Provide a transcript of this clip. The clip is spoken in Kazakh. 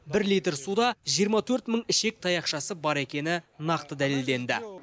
бір литр суда жиырма төрт мың ішек таяқшасы бар екені нақты дәлелденді